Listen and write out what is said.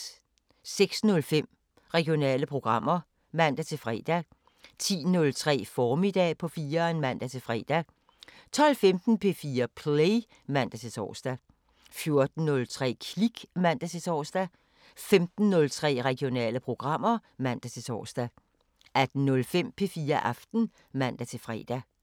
06:05: Regionale programmer (man-fre) 10:03: Formiddag på 4'eren (man-fre) 12:15: P4 Play (man-tor) 14:03: Klik (man-tor) 15:03: Regionale programmer (man-tor) 18:05: P4 Aften (man-fre)